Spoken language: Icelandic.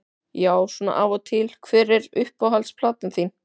Já svona af og til Hver er uppáhalds platan þín?